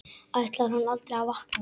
Ætlar hann aldrei að vakna?